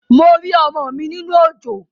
Mo rí ọmọ mi nínú òjò